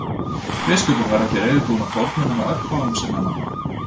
Biskupinn var ekki reiðubúinn að fórna nema örfáum sinna manna